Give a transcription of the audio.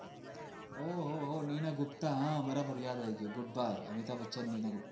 ઓહ ઓહ ઓહ મીના ગુપ્તા હા બરાબર યાદ આવી ગયું good bye અમિતાબ બચ્ચાંન મીના ગુપ્તા